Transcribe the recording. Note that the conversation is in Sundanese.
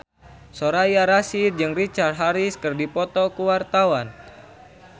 Soraya Rasyid jeung Richard Harris keur dipoto ku wartawan